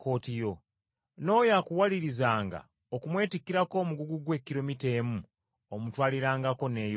N’oyo akuwalirizanga okumwetikkirako omugugu gwe kilomita emu, omutwalirangako n’eyokubiri.